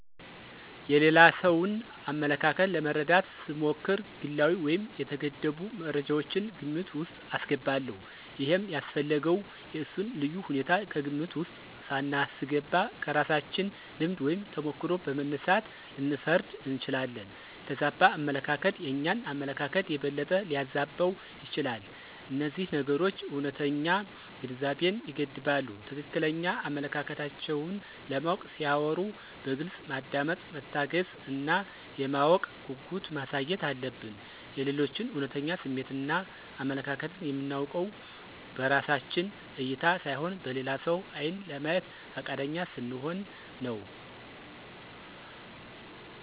የሌላ ሰውን አመለካከት ለመረዳት ስሞክር ግላዊ ወይም የተገደቡ መረጃወችን ግምት ውስጥ አስገባለሁ። ይሄም ያስፈለገው የእነሱን ልዩ ሁኔታ ከግምት ውስጥ ሳናስገባ ከራሳችን ልምድ ወይም ተሞክሮ በመነሳት ልንፈርድ እንችላለን። የተዛባ አመለካከት የእኛን አመለካከት የበለጠ ሊያዛባው ይችላል። እነዚህ ነገሮች እውነተኛ ግንዛቤን ይገድባሉ። ትክክለኛ አመለካከታቸውን ለማወቅ ሲያወሩ በግልጽ ማዳመጥ፣ መታገስ እና የማወቅ ጉጉት ማሳየት አለብን። የሌሎችን እውነተኛ ስሜትን እና አመለካከትን የምናውቀውን በራሳችን እይታ ሳይሆን በሌላ ሰው ዓይን ለማየት ፈቃደኛ ስንሆን ነው።